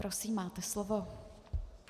Prosím, máte slovo.